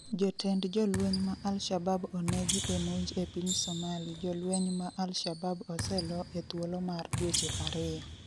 jotend jolweny ma Alshabab onegi e monj e piny Somali jolweny ma Alshabab oseloo e thuolo mar dweche ariyo